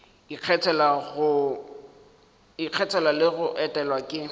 ikgethela le go etelwa ke